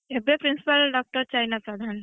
ଏବେ principal ଡଃ ଚାଇନା ପ୍ରଧାନ।